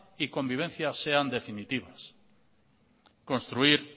y convivencia sean definitivas construir